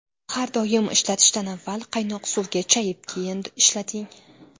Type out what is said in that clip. Har doim ishlatishdan avval qaynoq suvga chayib keyin ishlating.